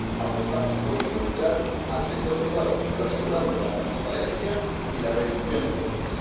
Apostamos por involucrar al sector privado, pero asegurando la transparencia y la rendición de cuentas.